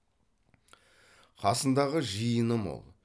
қасындағы жиыны мол